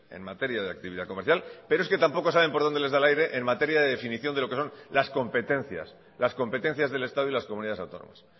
en materia de actividad comercial pero es que tampoco saben por dónde les da el aire en materia de definición de lo que son las competencias las competencias del estado y las comunidades autónomas